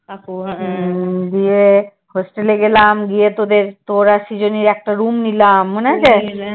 গিয়ে hostel এ গেলাম গিয়ে তোদের তোর আর শৃজনীর একটা room নিলাম, মনে আছে?